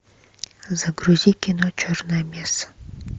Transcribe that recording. загрузи кино черная месса